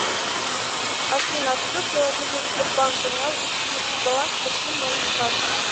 афина открой приложение сбербанк онлайн и посмотри баланс по всем моим картам